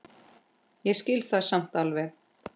Ég skil það samt alveg.